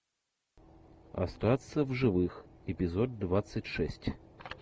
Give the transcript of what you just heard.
остаться в живых эпизод двадцать шесть